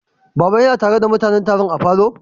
Baba ya na tare da mutanen Taron say a'falo?